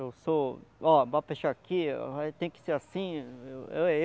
Eu sou, ó, bora pescar aqui, tem que ser assim.